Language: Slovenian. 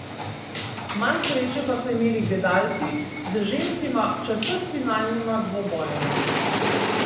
Manj sreče pa so imeli gledalci z ženskima četrtfinalnima dvobojema.